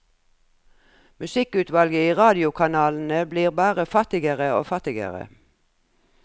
Musikkutvalget i radiokanalene blir bare fattigere og fattigere.